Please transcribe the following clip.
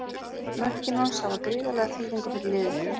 Mörkin hans hafa gríðarlega þýðingu fyrir liðið.